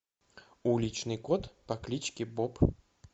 уличный кот по кличке боб